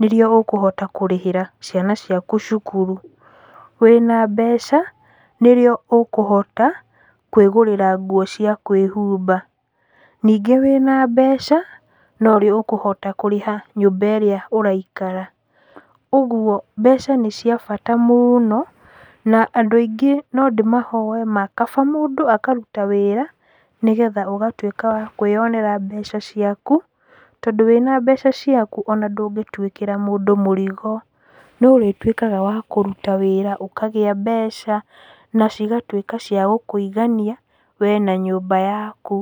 nĩrĩo ũkũhota kũrĩhĩra ciana ciaku cukuru. Wĩna mbeca, nĩrĩo ũkũhota kwĩgũrĩra nguo ciaku cia kwĩhumba. Ningĩ wĩna mbeca, norĩo ũkũhota kũrĩha nyũmba ĩrĩa ũraikara, ũguo, mbeca nĩ cia bata mũno, na andũ aingĩ nondĩmahoe ma kaba mũndũ akaruta wĩra, nĩgetha ũgatwĩka wa kwĩyonera mbeca ciaku, tondũ wĩna mbeca ciaku ona ndúngĩtwĩkĩra mũndũ mũrigo, nĩũrĩtwĩkaga wa kũruta wĩra ũkagĩa mbeca, na cigatwĩka cia gũkũigania, wee na nyũmba yaku.